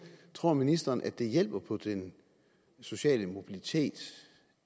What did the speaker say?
tror ministeren at det hjælper på den sociale mobilitet